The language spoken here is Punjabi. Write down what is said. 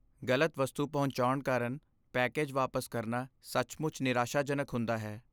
ਗ਼ਲਤ ਵਸਤੂ ਪਹੁੰਚਾਉਣ ਕਾਰਨ ਪੈਕੇਜ ਵਾਪਸ ਕਰਨਾ ਸੱਚਮੁੱਚ ਨਿਰਾਸ਼ਾਜਨਕ ਹੁੰਦਾ ਹੈ।